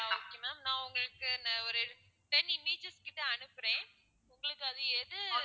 ஆஹ் okay ma'am நான் உங்களுக்கு ஒரு ten images கிட்ட அனுப்புறேன் உங்களுக்கு அது எது